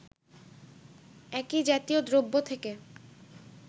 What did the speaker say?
একই জাতীয় দ্রব্য থেকে